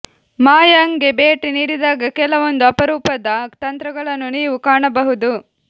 ಮಯಾಂಗ್ ಗೆ ಭೇಟಿ ನೀಡಿದಾಗ ಕೆಲವೊಂದು ಅಪರೂಪದ ತಂತ್ರಗಳನ್ನು ನೀವು ಕಾಣಬಹುದು